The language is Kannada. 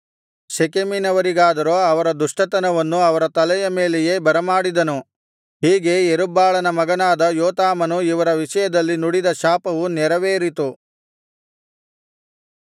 ಶೆಕೆಮಿನವರಿಗಾದರೋ ಅವರ ದುಷ್ಟತನವನ್ನು ಅವರ ತಲೆಯ ಮೇಲೆಯೇ ಬರಮಾಡಿದನು ಹೀಗೆ ಯೆರುಬ್ಬಾಳನ ಮಗನಾದ ಯೋತಾಮನು ಇವರ ವಿಷಯದಲ್ಲಿ ನುಡಿದ ಶಾಪವು ನೆರವೇರಿತು